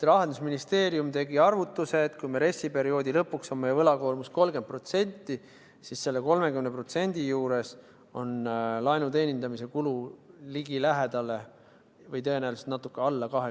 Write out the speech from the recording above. Rahandusministeerium tegi arvutuse, et kui RES-i perioodi lõpuks on meie võlakoormus 30%, siis selle 30% juures on laenu teenindamise kulu ligilähedale 20 miljonit, või tõenäoliselt natuke alla.